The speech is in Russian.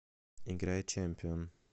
играй чемпион